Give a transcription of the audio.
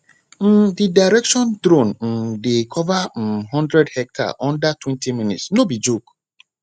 um the direction drone um dey cover um one hundred hectare undertwentyminutes no be joke